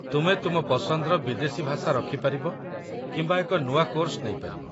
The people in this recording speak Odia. ତୁମେ ତୁମ ପସନ୍ଦର ବିଦେଶୀ ଭାଷା ରଖିପାରିବ କିମ୍ବା ଏକ ନୂଆ କୋର୍ସ ନେଇପାରିବ